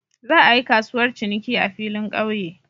Za a yi kasuwar ciniki a filin kauye.